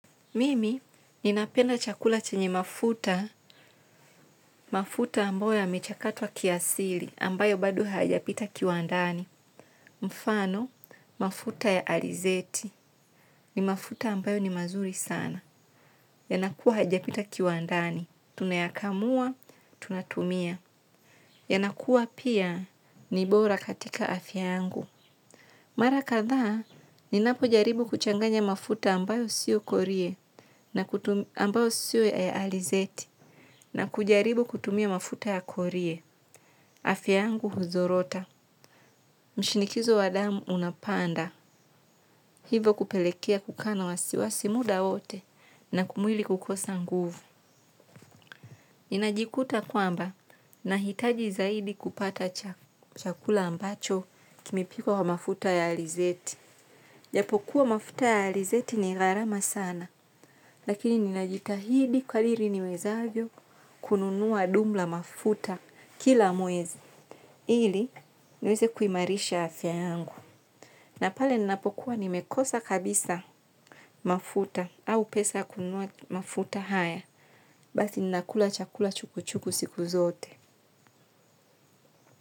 Mimi, ninapenda chakula chenye mafuta, mafuta ambayo yamechakatwa kiasili, ambayo bado hayajapita kiwandani. Mfano, mafuta ya alizeti, ni mafuta ambayo ni mazuri sana. Yanakuwa hajapita kiwandani, tunayakamua, tunatumia. Inakuwa pia, ni bora katika afya yangu. Mara kadhaa, ninapo jaribu kuchanganya mafuta ambayo sio korie, na ambayo sio ya alizeti. Na kujaribu kutumia mafuta ya korie afya yangu huzorota. Mshinikizo wa damu unapanda hivo kupelekea kukaa na wasiwasi muda wote na mwili kukosa nguvu. Ninajikuta kwamba nahitaji zaidi kupata chakula ambacho kimepikwa na mafuta ya alizeti. Japo kuwa mafuta ya alizeti ni gharama sana, lakini ninajitahidi kadri niwezavyo kununua dumu la mafuta kila mwezi. Hili niweze kuimarisha afya yangu na pale ninapokuwa nimekosa kabisa mafuta au pesa ya kununua mafuta haya. Basi ninakula chakula chukuchuku siku zote.